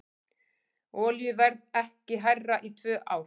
Olíuverð ekki hærra í tvö ár